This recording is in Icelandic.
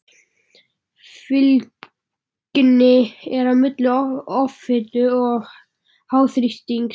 Fylgni er á milli offitu og háþrýstings.